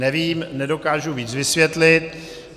Nevím, nedokážu víc vysvětlit.